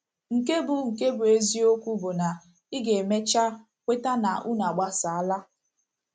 Nke bụ́ Nke bụ́ eziokwu bụ na ị ga - emecha kweta na unu agbasaala.